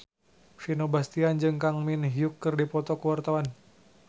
Vino Bastian jeung Kang Min Hyuk keur dipoto ku wartawan